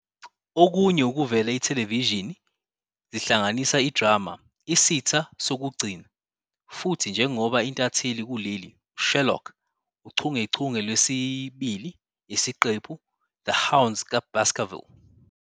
Okunye ukuvela ithelevishini zihlanganisa idrama "Isitha Sokugcina" futhi njengoba intatheli kuleli "Sherlock" uchungechunge lwesibili isiqephu " The Hounds ka Baskerville ".